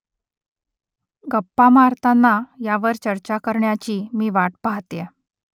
गप्पा मारताना ह्यावर चर्चा करण्याची मी वाट पाहतेय